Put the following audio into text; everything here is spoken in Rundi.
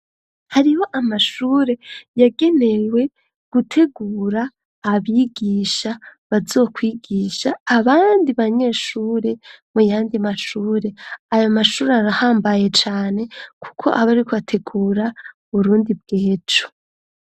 Hariho amashure yagenewe gutegura abigisha bazokwigisha abandi banyeshuri mu yandi mashure .Ayo mashuri arahambaye cane kuko abo ari kubategura Burundi bwejo.